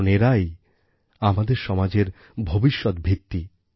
কারণ এরাই আমাদের সমাজের ভবিষ্যৎ ভিত্তি